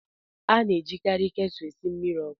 A na-ejikarị ketụlụ esi mmiri ọkụ